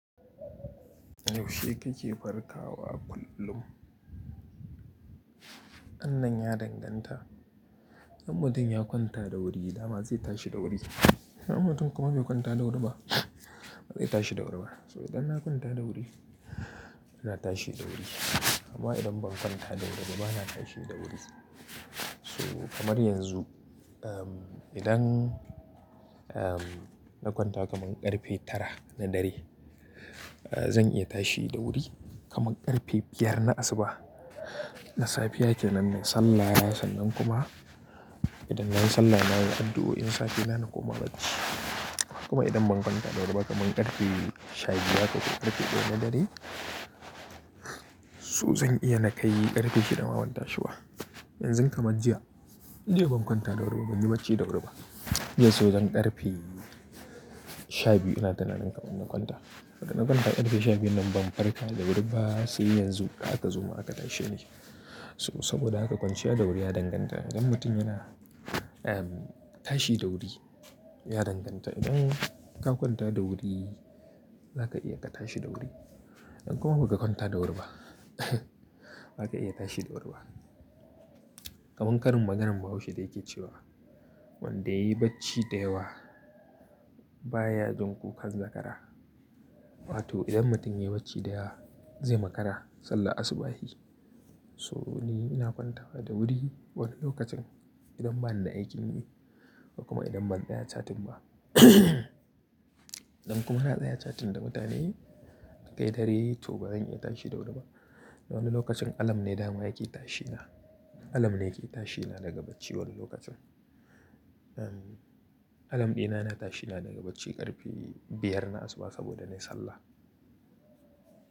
Yaushe kake farkawa kullum? Anan ya danganta. Idan mutum ya kwanta da wuri dama zai tashi da wuri. Idan mutum kuma bai kwanta da wuri ba, ba zai tashi da wuri ba. So idan na kwanta da wuri, ina tashi da wuri. Amma idan ban kwanta da wuri ba, bana tashi da wuri. So kamar yanzu, um, idan, um, na kwanta kamar ƙarfe tara na dare, zan iya tashi da wuri kamar ƙarfe biyar na asuba. Na safiya ke nan na sallah, sannan kuma idan na yi sallah na yi addu'o'in safiya na kuma bacci. Kuma idan ban kwanta da wuri ba, kamar ƙarfe shabiyu haka ko ƙarfe ɗaya na dare, so zan iya na kai ƙarfe shida ma ban tashi ba. Yanzu kamar jiya, jiya ban kwanta da wuri ba, ban yi bacci da wuri ba. Jiya so zan ƙarfe shabiyu ina tunanin kamar in kwanta. Da na kwanta ƙarfe shabiyu nan ban farka da wuri ba sai yanzu da aka zo aka tashi ne. So saboda haka kwanciya da wuri ya danganta. Idan mutum yana, um, tashi da wuri ya danganta. Idan ka kwanta da wuri, za ka iya ka tashi da wuri. Idan kuma ba ka kwanta da wuri ba, ba ka iya tashi da wuri ba. Kaman karin maganar Bahaushe da yake cewa wanda ya yi bacci da yawa baya jin ƙuƙar zakara. Wa to idan mutum ya yi bacci da yawa, zai makara sallah asuba shi. So ni ina kwantawa da wuri wani lokacin idan bani da aikin yi ko kuma idan ban tsaya catin ba. Idan kuma na tsaya catin da mutane a kai dare, to ba zan iya tashi da wuri ba. Wani lokacin alam ne dama yake tashi na. Alam ne yake tashi na daga bacci wani lokacin. Um, alam ɗina na tashi na daga bacci ƙarfe biyar na asuba saboda na yi sallah.